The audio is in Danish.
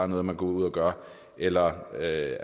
noget man går ud og gør eller at